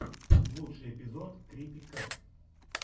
лучший эпизод крипи кэт